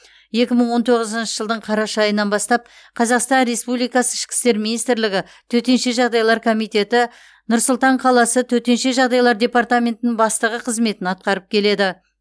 екі мың он тоғызыншы жылдың қараша айынан бастап қазақстан республикасы ішкі істер министрлігі төтенше жағдайлар комитеті нұр сұлтан қаласы төтенше жағдайлар департаментінің бастығы қызметін атқарып келеді